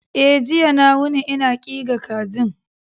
E, jiya na wuni ina ƙiga kajin.